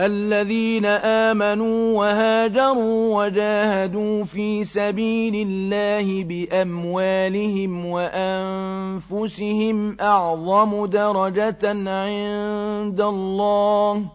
الَّذِينَ آمَنُوا وَهَاجَرُوا وَجَاهَدُوا فِي سَبِيلِ اللَّهِ بِأَمْوَالِهِمْ وَأَنفُسِهِمْ أَعْظَمُ دَرَجَةً عِندَ اللَّهِ ۚ